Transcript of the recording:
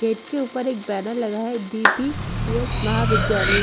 gate के ऊपर एक बैनर लगा है डी_पि_पि_एस महाविद्यालय--